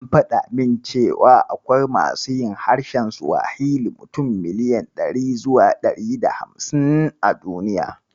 An faɗa min cewa akwai masu yin harshen Siwahili mutum miliyan ɗari zuwa ɗari da hamsin a duniya.